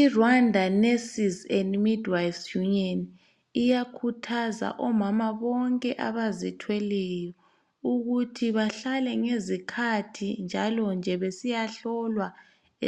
IRwanda Nurses and Midwives Union uyakhuthaza omama bonke abazithweleyo ukuthi bahlale ngezikhathi njalonje besiyahlolwa